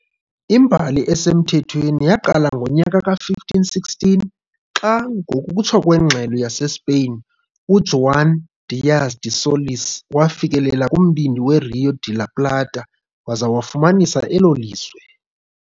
Imbali esemthethweni yaqala ngonyaka ka-1516 xa, ngokutsho kwengxelo yaseSpeyin, uJuan Díaz de Solís wafikelela kumbindi weRío de la Plata waza wafumanisa elo lizwe.